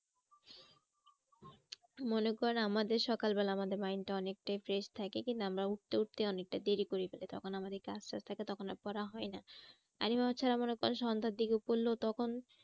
মনে করেন আমাদের সকাল বেলা আমাদের mind টা অনেকটাই fresh থাকে কিন্তু আমরা উঠতে উঠতে অনেকটা দেরি করে ফেলি। তখন আমাদের কাজ টাজ থাকে তখন আর পড়া হয় না। সন্ধার দিকে পড়লেও তখন